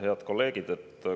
Head kolleegid!